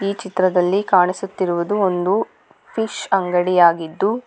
ಚಿತ್ರದಲ್ಲಿ ಕಾಣಿಸುತ್ತಿರುವುದು ಒಂದು ಫಿಶ್ ಅಂಗಡಿಯಾಗಿದ್ದು--